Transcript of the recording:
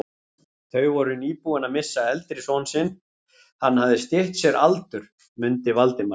Þau voru nýbúin að missa eldri son sinn, hann hafði stytt sér aldur, mundi Valdimar.